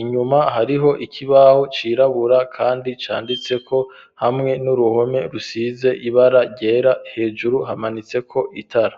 inyuma hariho ikibaho cirabura kandi canditseko hamwe n'uruhome rusize ibara ryera hejuru hamanitseko itara.